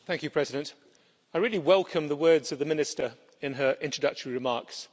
Mr President, I really welcome the words of the Minister in her introductory remarks.